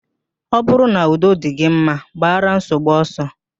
Ọ bụrụ n'udo dị gị mma, gbara nsogbu ọsọ